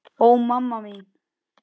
Ó, mamma mín.